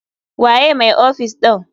Waye mai ofis ɗin?